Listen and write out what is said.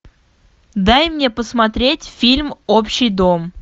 дай мне посмотреть фильм общий дом